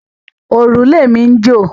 Òrùlé mi ń jò.